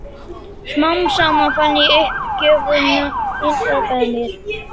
Smám saman fann ég uppgjöfina innra með mér.